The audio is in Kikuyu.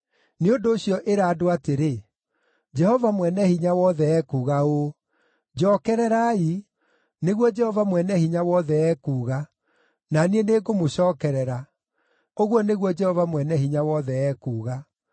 Nĩ ũndũ ũcio ĩra andũ atĩrĩ, Jehova Mwene-Hinya-Wothe ekuuga ũũ: ‘Njookererai, nĩguo Jehova Mwene-Hinya-Wothe ekuuga, na niĩ nĩngũmũcookerera,’ ũguo nĩguo Jehova Mwene-Hinya-Wothe ekuuga.